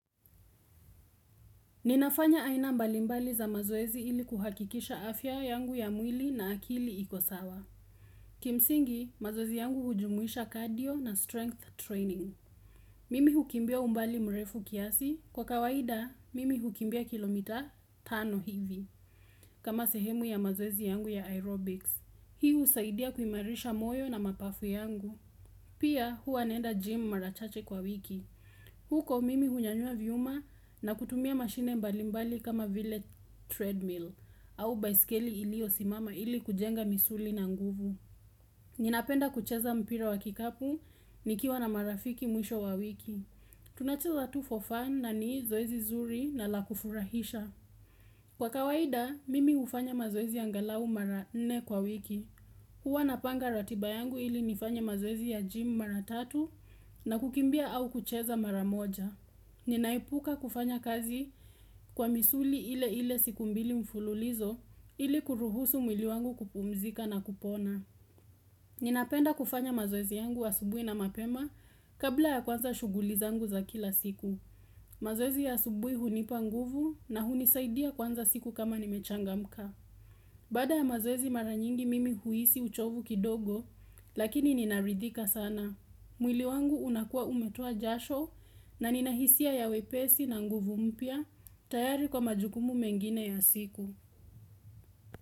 Ninafanya aina mbali mbali za mazoezi ili kuhakikisha afya yangu ya mwili na akili ikosawa. Kimsingi, mazoezi yangu hujumuisha cardio na strength training. Mimi hukimbia umbali mrefu kiasi. Kwa kawaida, mimi hukimbia kilomita tano hivi. Kama sehemu ya mazoezi yangu ya aerobics. Hii usaidia kuimarisha moyo na mapafu yangu. Pia, huwa naenda gym mara chache kwa wiki. Huko mimi hunyanyua vyuma na kutumia mashine mbalimbali kama vile treadmill au bicycle ilio simama ili kujenga misuli na nguvu Ninapenda kucheza mpira wa kikapu nikiwa na marafiki mwisho wa wiki tunacheza tu for fun na ni zoezi zuri na la kufurahisha Kwa kawaida mimi ufanya mazoezi angalau mara 4 kwa wiki Huwa napanga ratiba yangu ili nifanye mazoezi ya gym mara 3 na kukimbia au kucheza mara 1 Ninaepuka kufanya kazi kwa misuli ile ile siku mbili mfululizo ili kuruhusu mwili wangu kupumzika na kupona. Ninapenda kufanya mazoezi yangu asubui na mapema kabla ya kuanza shugulizangu za kila siku. Mazoezi ya asubui hunipa nguvu na hunisaidia kuanza siku kama nimechanga mka. Baada ya mazoezi mara nyingi mimi huisi uchovu kidogo lakini ninaridhika sana. Mwili wangu unakuwa umetoa jasho na ninahisia ya wepesi na nguvu mpya tayari kwa majukumu mengine ya siku.